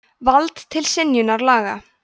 vald til synjunar laga